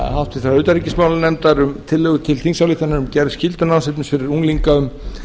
háttvirtrar utanríkismálanefndar um tillögu til þingsályktunar um gerð skyldunámsefnis fyrir unglinga um